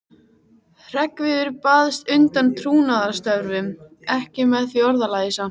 Hreggviður baðst undan trúnaðarstörfum, ekki með því orðalagi samt.